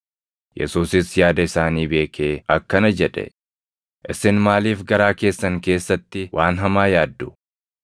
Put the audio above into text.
Yesuusis yaada isaanii beekee akkana jedhe; “Isin maaliif garaa keessan keessatti waan hamaa yaaddu?